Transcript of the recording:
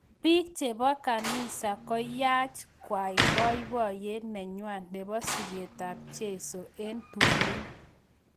Bik chebo kanisa koyaach kwai boiboyet nenywa nebo siket ab cheiso eng tumin.